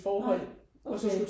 Nej okay